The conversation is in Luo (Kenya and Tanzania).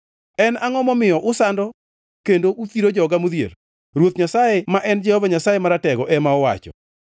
En angʼo momiyo usando kendo uthiro joga modhier?” Ruoth Nyasaye, ma en Jehova Nyasaye Maratego ema owacho.